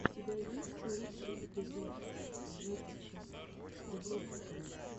у тебя есть лучший эпизод жекича дубровского